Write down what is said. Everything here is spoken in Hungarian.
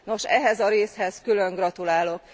Nos, ehhez a részhez külön gratulálok.